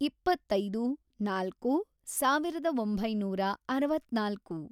ಇಪ್ಪತ್ತೈದು, ನಾಲ್ಕು, ಸಾವಿರದ ಒಂಬೈನೂರ ಅರವತ್ನಾಲ್ಕು